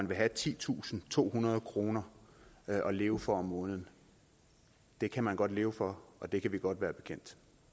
vil have titusinde tohundrede kroner at leve for om måneden det kan man godt leve for og det kan vi godt være bekendt